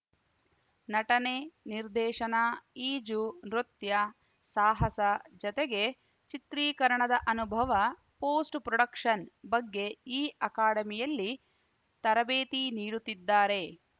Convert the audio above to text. ನಟನೆ ನಿರ್ದೇಶನ ಈಜು ನೃತ್ಯ ಸಾಹಸ ಜತೆಗೆ ಚಿತ್ರೀಕರಣದ ಅನುಭವ ಪೋಸ್ಟ್‌ ಪ್ರೊಡಕ್ಷನ್‌ ಬಗ್ಗೆ ಈ ಅಕಾಡೆಮಿಯಲ್ಲಿ ತರಬೇತಿ ನೀಡುತ್ತಿದ್ದಾರೆ